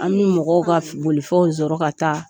An bɛ mɔgɔw ka bolifɛnw sɔrɔ ka taa.